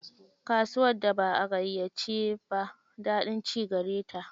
Kasuwar da ba a gayyace ba, daɗin ci gare ta.